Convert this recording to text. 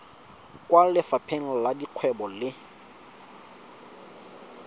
kwa lefapheng la dikgwebo le